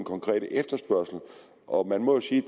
konkrete efterspørgsel og man må jo sige